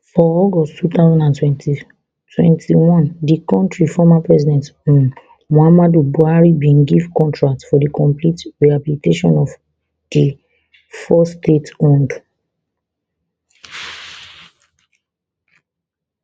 for august two thousand and twenty twenty-one di kontri former president um muhammadu buhari bin give contract for di complete rehabilitation di four stateowned